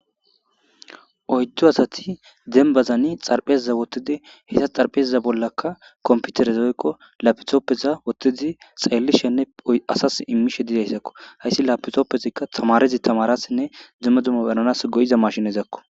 oydu asati denbazani xarphezaza wottidi heta xarphezaza bollakka komputeres hoykko lapitoppeza wottezi xeellishenne asas immishe didayssakko hayssi lapitoppezikka tamarezi tamarassinne dzumma dumma benanas goyiza mashinezakko